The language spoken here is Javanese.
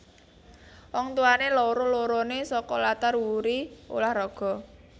Wong tuwané loro loroné saka latar wuri ulah raga